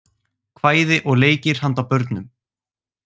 Kvæði og leikir handa börnum.